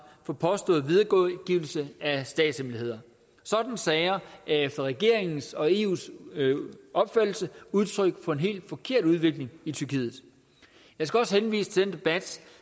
for påstået videregivelse af statshemmeligheder sådanne sager er efter regeringens og eus opfattelse udtryk for en helt forkert udvikling i tyrkiet jeg skal også henvise til den debat